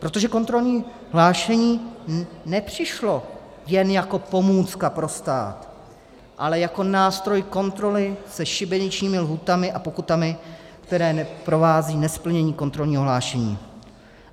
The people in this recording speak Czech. Protože kontrolní hlášení nepřišlo jen jako pomůcka pro stát, ale jako nástroj kontroly se šibeničními lhůtami a pokutami, které provázejí nesplnění kontrolního hlášení.